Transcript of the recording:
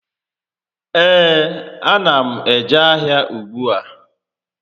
Ee, a na m eje ahịa ùgbúà